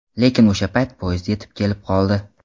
Lekin o‘sha payt poyezd yetib kelib qoldi.